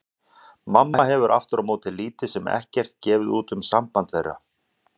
Mamma hefur aftur á móti lítið sem ekkert gefið út á samband þeirra.